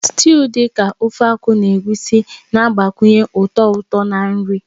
Sịtịụ dị ka Ofe Akwu na Egusi na-agbakwunye ụtọ ụtọ na nri.